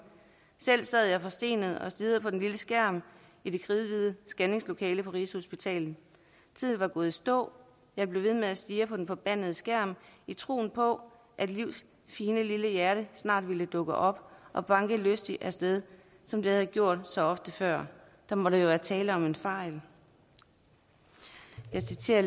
selv sad jeg forstenet og stirrede på den lille skærm i det kridhvide skanningslokale på rigshospitalet tiden var gået i stå jeg blev ved med at stirre på den forbandede skærm i troen på at livs fine lille hjerte snart ville dukke op og banke lystigt af sted som det havde gjort så ofte før der måtte jo være tale om en fejl jeg citerer